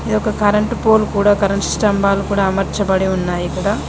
ఇదొక current pole కూడా current స్తంభాలు కూడా అమర్చబడి ఉన్నాయిక్కడ.